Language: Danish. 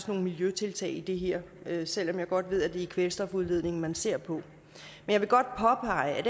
nogle miljøtiltag i det her selv om jeg godt ved at det er kvælstofudledningen man ser på men jeg vil godt påpege